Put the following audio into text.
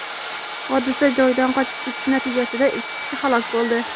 hodisa joyidan qochib ketishi natijasida ikki kishi halok bo‘ldi.